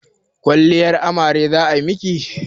Kwalliyar amare za a miki?